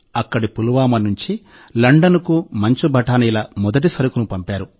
అక్కడి పుల్వామా నుంచి లండన్కు మంచు బఠానీల మొదటి సరుకును పంపారు